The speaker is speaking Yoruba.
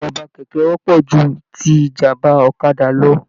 Ìjàmbá kẹkẹ wọpọ jù tí ìjàmbá ọ̀kàdà lọ.